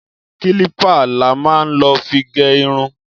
Kílìpá lá má ń lọ fi gẹ ìrún.